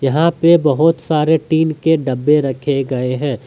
यहां पे बहुत सारे टीन के डब्बे रखे गए हैं।